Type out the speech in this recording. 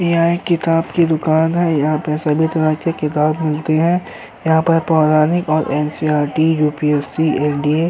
यह ए किताब की दुकान है। यहाँ पे सभी तरह के किताब मिलते हैं। यहाँ पर पौराणिक और एन.सी.ई.आर.टी. यू.पी.एस.सी. एन.डी.ए. --